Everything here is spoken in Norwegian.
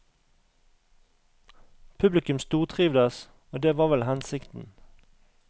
Publikum stortrivdes, og det var vel hensikten.